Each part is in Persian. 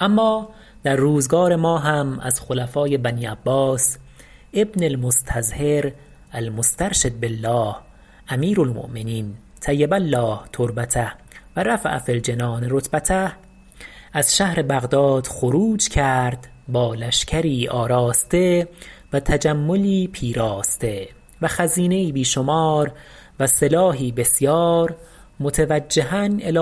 اما در روزگار ما هم از خلفاء بنی عباس ابن المستظهر المسترشد بالله امیرالمؤمنین طیب الله تربته و رفع فی الجنان رتبته از شهر بغداد خروج کرد با لشکری آراسته و تجملی پیراسته و خزینه ای بی شمار و سلاحی بسیار متوجها الی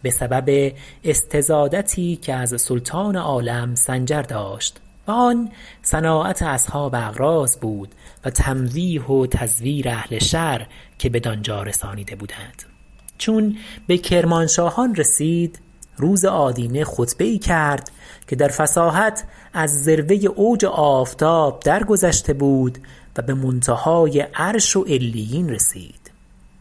خراسان بسبب استزادتی که از سلطان عالم سنجر داشت و آن صناعت اصحاب اغراض بود و تمویه و تزویر اهل شر که بدانجا رسانیده بودند چون به کرمانشاهان رسید روز آدینه خطبه ای کرد که در فصاحت از ذروه اوج آفتاب در گذشته بود و به منتهای عرش و علیین رسید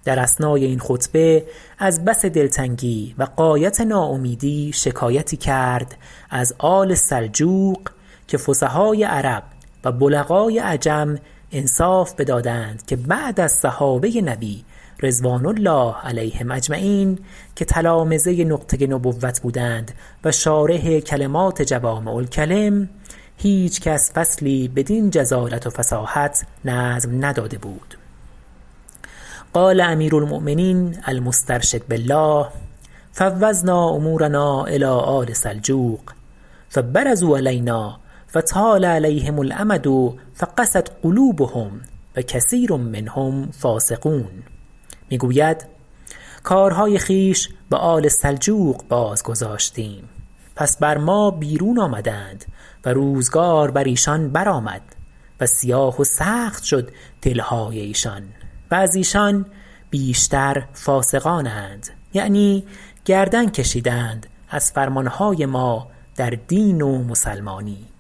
در اثناء این خطبه از بس دلتنگی و غایت ناامیدی شکایتی کرد از آل سلجوق که فصحاء عرب و بلغاء عجم انصاف بدادند که بعد از صحابه نبی رضوان الله علیهم اجمعین که تلامذه نقطه نبوت بودند و شارح کلمات جوامع الکلم هیچ کس فصلی بدین جزالت و فصاحت نظم نداده بود قال امیر المؤمنین المسترشد بالله فوضنا امورنا الی آل سلجوق فبرزوا علینا فطال علیهم الامد فقست قلوبهم و کثیر منهم فاسقون می گوید کار های خویش به آل سلجوق باز گذاشتیم پس بر ما بیرون آمدند و روزگار بر ایشان برآمد و سیاه و سخت شد دلهای ایشان و از ایشان بیشتر فاسقانند یعنی گردن کشیدند از فرمانهای ما در دین و مسلمانی